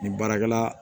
Nin baarakɛla